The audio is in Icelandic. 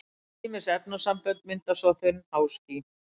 ýmis efnasambönd mynda svo þunn háský